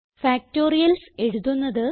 factorials എഴുതുന്നത്